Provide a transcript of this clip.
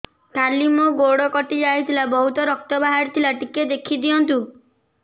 କାଲି ମୋ ଗୋଡ଼ କଟି ଯାଇଥିଲା ବହୁତ ରକ୍ତ ବାହାରି ଥିଲା ଟିକେ ଦେଖି ଦିଅନ୍ତୁ